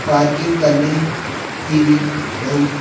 parking करने की भी बहुत--